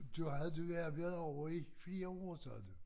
Du havde du arbejdede ovre i flere år sagde du